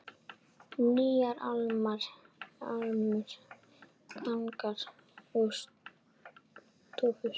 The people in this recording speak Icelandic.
Nýjar álmur, gangar og stofur.